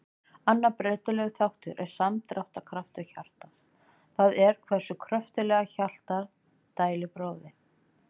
Annar breytilegur þáttur er samdráttarkraftur hjartans, það er hversu kröftuglega hjartað dælir blóðinu.